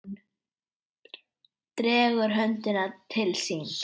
Hún dregur höndina til sín.